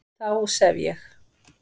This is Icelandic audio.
Þá sef ég